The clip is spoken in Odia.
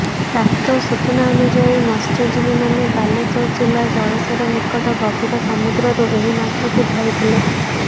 ପ୍ରାପ୍ତ ସୂଚନାନୁଯାୟୀ ମତ୍ସଜୀବୀ ମାନେ ବାଲେଶ୍ୱର ଜିଲ୍ଲା ଜଳେଶ୍ୱର ନିକଟ ଗଭୀର ସମୁଦ୍ରରୁ ଏହି ମାଛକୁ ଧରିଥିଲେ